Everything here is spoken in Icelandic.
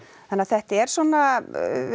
þannig að þetta er svona